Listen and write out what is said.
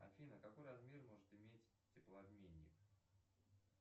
афина какой размер может иметь теплообменник